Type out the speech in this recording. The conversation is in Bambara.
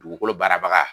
Dugukolo baarabaga